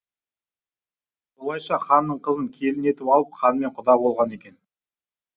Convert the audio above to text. солайша ханның қызын келін етіп алып ханмен құда болған екен